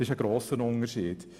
Das ist ein grosser Unterschied.